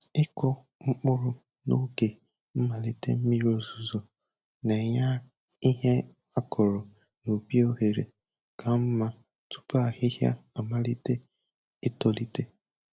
Ịkụ mkpụrụ n'oge mmalite mmiri ọzụzụ na-enye ihe akụrụ n'ubi ohere ka mma tupu ahịhịa amalite itolite.